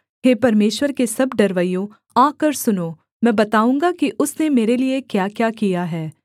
हे परमेश्वर के सब डरवैयों आकर सुनो मैं बताऊँगा कि उसने मेरे लिये क्याक्या किया है